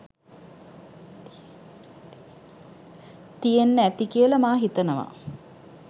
තියෙන්න ඇති කියලා මා හිතනවා.